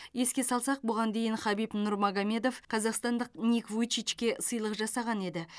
еске салсақ бұған дейін хабиб нурмагомедов қазақстандық ник вуйчичке сыйлық жасаған еді